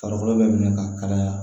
Farikolo bɛ minɛ ka kalaya